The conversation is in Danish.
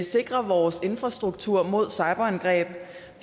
sikrer vores infrastruktur mod cyberangreb